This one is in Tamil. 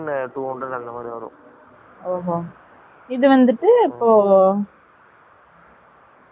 sleeper வந்துட்டு அபோ இதெல்லம்